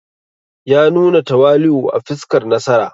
Ya nuna tawali’u a fuskar nasara.